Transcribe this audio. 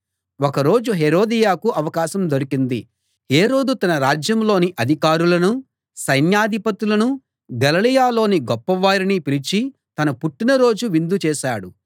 ఒక రోజు హేరోదియకు అవకాశం దొరికింది హేరోదు తన రాజ్యంలోని అధికారులను సైన్యాధిపతులను గలిలయలోని గొప్పవారిని పిలిచి తన పుట్టిన రోజు విందు చేశాడు